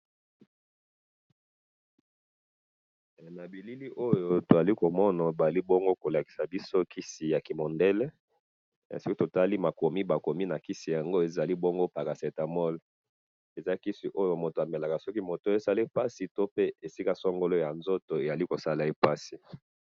na bilili oyo tozali komona ndeko moko atiye loboko na motema pe totali bilamba alati tozali komona bongo mobeti ya ndembo ya makolo azali koyemba nzembo ya ekolo na bongo.